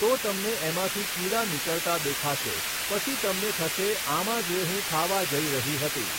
તો તમને એમાંથી કીડા નીકળતા દેખાશે પછી તમને થશે આમાં જે હું ખાવા જઈ રહી હતી